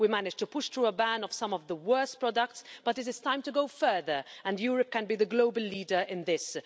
We managed to push through a ban of some of the worst products, but it is time to go further, and Europe can be the global leader in this.